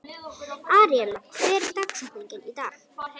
Aríella, hver er dagsetningin í dag?